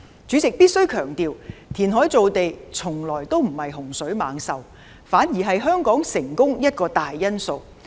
主席，必須強調，填海造地從來不是洪水猛獸，反而是香港成功的一個大因素。